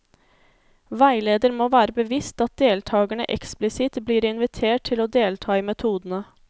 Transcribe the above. Veileder må være bevisst at deltakerne eksplisitt blir invitert til å delta i metodene.